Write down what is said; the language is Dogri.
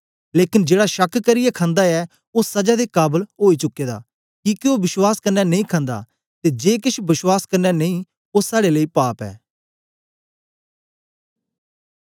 लेकन जेड़ा शक करियै खंदा ऐ ओ सजा दे काबल ओई चुके दा किके ओ विश्वास कन्ने नेई खंदा ते जे केछ बश्वास कन्ने नेई ओ साड़े लेई पाप ऐ